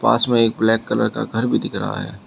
पास में एक black colour का घर भी दिख रहा है।